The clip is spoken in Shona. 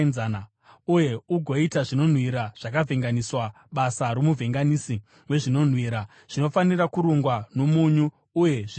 uye ugoita zvinonhuhwira zvakavhenganiswa, basa romuvhenganisi wezvinonhuhwira. Zvinofanira kurungwa nomunyu, uye zvitsvene.